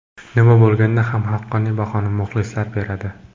Nima bo‘lganda ham, haqqoniy bahoni muxlislar beradi.